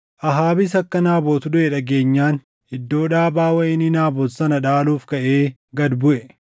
Ahaabis akka Naabot duʼe dhageenyaan iddoo dhaabaa wayinii Naabot sana dhaaluuf kaʼee gad buʼe.